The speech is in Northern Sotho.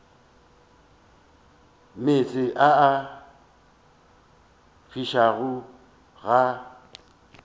meetse a a fišago ga